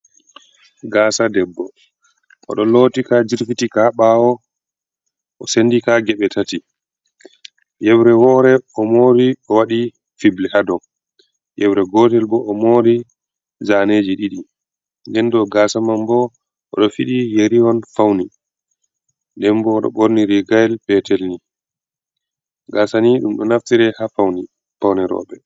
Gasa debbo oɗo loti ka jirfitika ha ɓawo o sendika geɓe tati, yewre wore o mori o waɗi fibli ha dou, yewre gotel bo o mori zaneji diɗi nden dou gasa man bo oɗo fidi yeri on fauni, denbo oɗo ɓorni rigail petel ni gasa ni ɗum ɗo naftira ha paune paune roɓɓe.